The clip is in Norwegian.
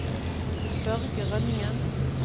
Børge Rønningen